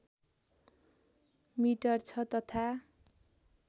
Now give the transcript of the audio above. metre छ तथा